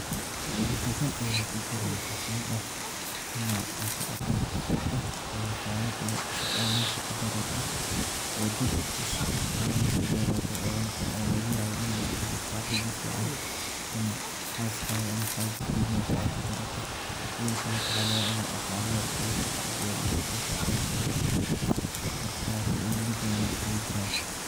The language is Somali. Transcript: Faido badan aya kujiraan waxa kamiid ah ina ka aqon .korarsato waxyabo badan cusub ka barato dad cusub aa mesha kabarato, oo lagayabo ina mustaqtabal saxibo fican ama xaskada ama xajikada kabarato sidhokale waxa lagayaba ina daqaale yaar a ka hesho .